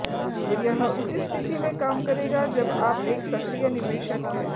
यह उसी स्थिति में काम करेगा जब आप एक सक्रिय निवेशक हैं